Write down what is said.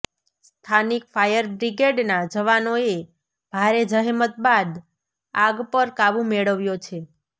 સ્થાનિક ફાયર બ્રિગેડના જવાનોએ ભારે જહેમત બાદ આગ પર કાબૂ મેળવ્યો છે